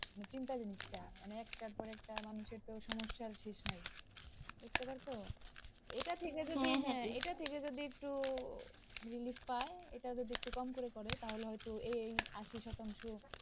চিন্তা জিনিসটা মানে একটার পর একটা মানুষের তো সমস্যার শেষ নাই, , এটা ঠিক আছে যে এটা ঠিক আছে যে একটু relief পাই, এটা যদি একটু কম করে করে তাহলে হয়ত এই আশি শতাংশ,